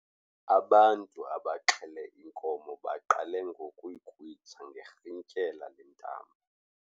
Ubantu abaxhele inkomo baqale ngokuyikrwitsha ngerhintyela lentambo.